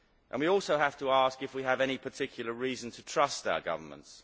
We also have to ask if we have any particular reason to trust our governments.